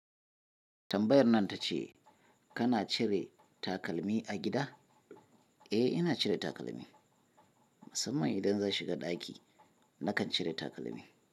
Tambayar nan ta ce kana cire takalmi a gida? Eh, ina cire takalmi. Musamman idan zan shiga ɗaki, nakan cire takalmi.